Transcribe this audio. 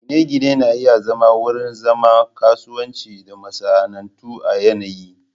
Gine-gine na iya zama wurin zama, kasuwanci da masana'antu a yanayi